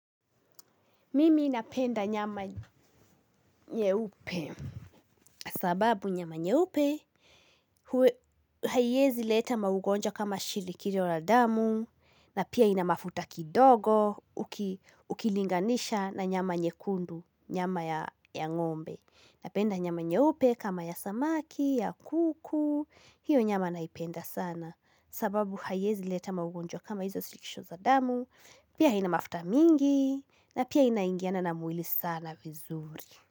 Mimi napenda nyama nyeupe sababu nyama nyeupe haiwezi leta maugonjwa kama shinikizo la damu, na pia ina mafuta kidogo ukilinganisha na nyama nyekundu, nyama ya ngombe. Napenda nyama nyeupe kama ya samaki, ya kuku, hiyo nyama naipenda sana. Sababu haiezi leta maugonja kama hizo shinikizo za damu, pia haina mafuta mingi, na pia inaingiana na mwili sana vizuri.